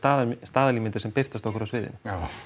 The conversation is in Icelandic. staðalímyndir sem birtast okkur á sviðinu já